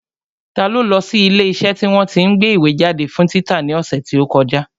Ta ló lọ sí ilé iṣẹ́ tí wọ́n tí ń gbé ìwé jáde fún títa ní ọ̀sẹ̀ tí ó kọjá?